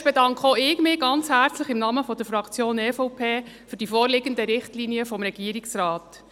Zuerst bedanke auch ich mich ganz herzlich im Namen der EVP-Fraktion für die vorliegenden Richtlinien des Regierungsrates.